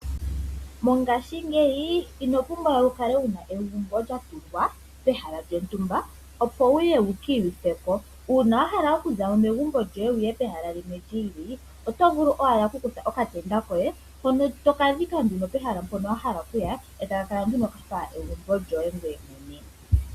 Mongaashingeyi ino pumbwa wu kale wuna egumbo lya tungwa pehala lyontumba opo wuye wu ki iyuthe po. Uuna wa hala okuzamo megumbo lyoye opo wuye pehala limwe lyi ili, oto vulu owala oku kutha okatenda koye hono toka dhika nduno pehala mpono wa hala okuya, eta ka kala nduno kafa egumbo lyoye ngoye mwene.